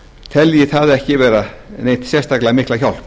telji það ekki vera neitt sérstaklega mikla hjálp